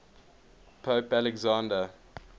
pope alexander